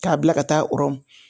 K'a bila ka taa rɔmu